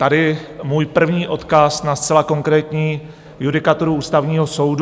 Tady můj první odkaz na zcela konkrétní judikaturu Ústavního soudu.